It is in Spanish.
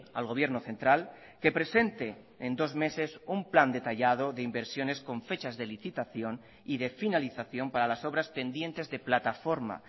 al gobierno central que presente en dos meses un plan detallado de inversiones con fechas de licitación y de finalización para las obras pendientes de plataforma